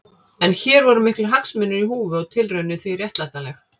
En hér voru miklir hagsmunir í húfi og tilraunin því réttlætanleg.